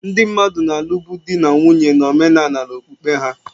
Ndị mmadụ na-alụbu di na nwunye na omenala na okpukpe ha.